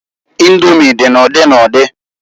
Indomi di n'udi n'udi.